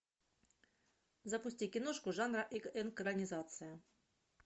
запусти киношку жанра экранизация